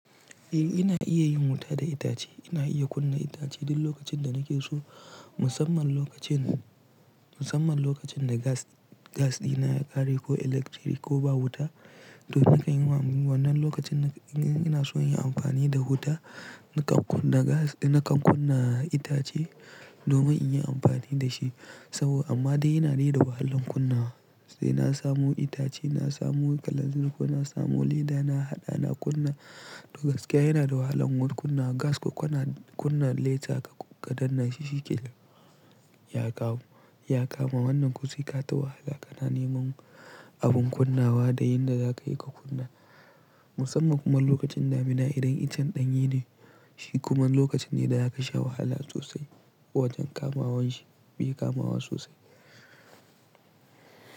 Eh ina iya yin wuta da itace, ina iya kunna itace duk lokacin da nake so musamman lokacin, musamman lokacin da gas, gas ɗina ya ƙare ko electric ko ba wuta to nakan yi wannan lokacin ina so in yi amfani da wuta nakan kuna gas nakan kunna itace domin in yi amfani da shi saboda amma dai yana da wahalan kunna sai na samu itace, na samu kalanzir ko na samu leda na haɗa na kunna duk gaskiya yana da wahalan kunna gas ko kunna, kunna laita kaɗan na shiki ya kawo, ya kama wannan ko sai ka ta wahala kana neman abin kunnawa da yadda za ka yi ka kunna musamman kuma lokacin damina idan icen ɗanye ne shi kuma lokacin ne da a ka sha wahala sosai wajen kamawanshi, bai kamawa sosai.